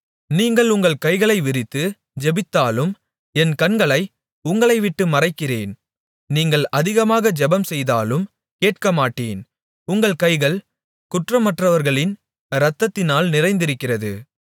நீங்கள் உங்கள் கைகளை விரித்து ஜெபித்தாலும் என் கண்களை உங்களைவிட்டு மறைக்கிறேன் நீங்கள் அதிகமாக ஜெபம்செய்தாலும் கேட்கமாட்டேன் உங்கள் கைகள் குற்றமற்றவர்களின் இரத்தத்தினால் நிறைந்திருக்கிறது